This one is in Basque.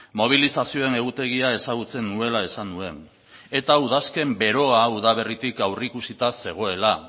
mobilizazioen egutegia ezagutzen nuela esan nuen eta udazken beroa udaberritik aurreikusita zegoela